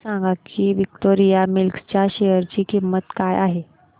हे सांगा की विक्टोरिया मिल्स च्या शेअर ची किंमत काय आहे